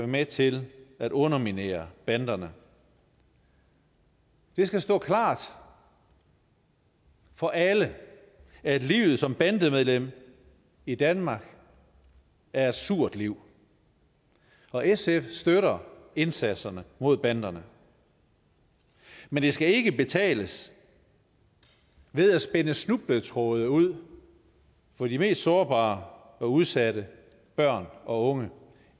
med til at underminere banderne det skal stå klart for alle at livet som bandemedlem i danmark er et surt liv og sf støtter indsatserne mod banderne men det skal ikke betales ved at spænde snubletråde ud for de mest sårbare og udsatte børn og unge